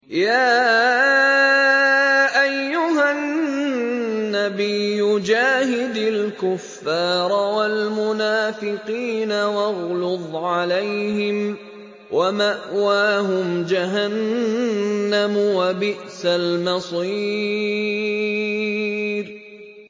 يَا أَيُّهَا النَّبِيُّ جَاهِدِ الْكُفَّارَ وَالْمُنَافِقِينَ وَاغْلُظْ عَلَيْهِمْ ۚ وَمَأْوَاهُمْ جَهَنَّمُ ۖ وَبِئْسَ الْمَصِيرُ